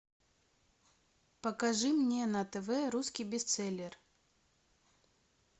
покажи мне на тв русский бестселлер